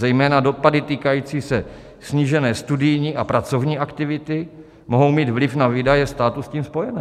Zejména dopady týkající se snížené studijní a pracovní aktivity mohou mít vliv na výdaje státu s tím spojené.